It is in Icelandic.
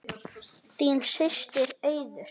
Þín systir Auður.